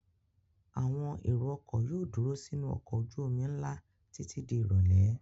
Àwọn èrò-ọkọ̀ yóò dúró sínú ọkọ̀ ojú-omi ńlá títí di ìrọ́lẹ́.